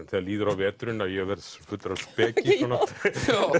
þegar líður á veturinn að ég verð fullur af speki